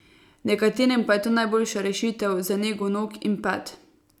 Nekaterim pa je to najboljša rešitev za nego nog in pet.